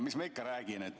Mis ma ikka räägin?